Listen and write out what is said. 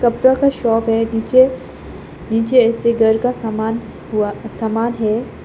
कपड़ा का शॉप है नीचे नीचे घर का सामान हुआ सामान है।